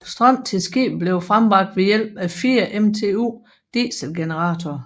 Strøm til skibet bliver frembragt ved hjælp af fire MTU dieselgeneratorer